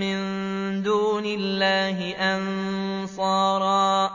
مِّن دُونِ اللَّهِ أَنصَارًا